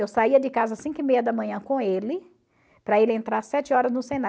Eu saía de casa às cinco e meia da manhã com ele, para ele entrar às sete horas no Senai.